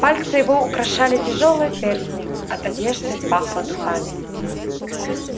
пальцы его украшали тяжёлые перстни от одежды пахло духами